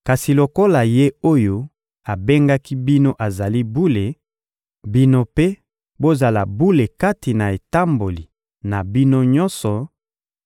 Kasi lokola Ye oyo abengaki bino azali Bule, bino mpe bozala bule kati na etamboli na bino nyonso,